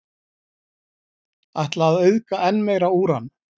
Ætla að auðga enn meira úran